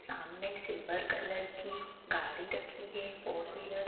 सामने silver colour की गाड़ी रखी है फोर विलर ।